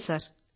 ഇല്ല സർ